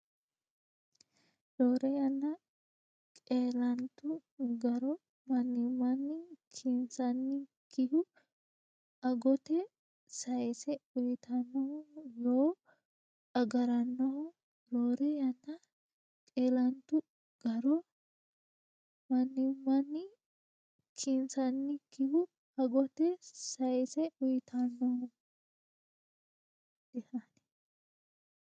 Roore yanna qeelantu garo mannimmanni kinsannikihu agote sayisse uytannohu yoo agarannoho Roore yanna qeelantu garo mannimmanni kinsannikihu agote sayisse uytannohu.